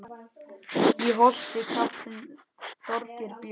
Í Holti kappinn Þorgeir bjó.